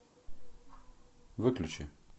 выключи